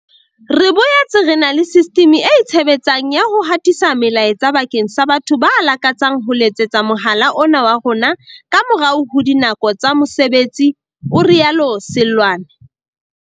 "Re boetse re na le sistimi e itshe betsang ya ho hatisa melaetsa bakeng sa batho ba lakatsang ho letsetsa mohala ona wa rona ka morao ho dinako tsa mose betsi," o rialo Seloane.